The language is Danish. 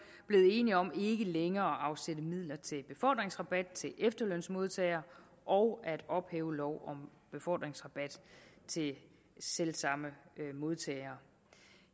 enige om ikke længere at afsætte midler til befordringsrabat til efterlønsmodtagere og at ophæve lov om befordringsrabat til selv samme modtagere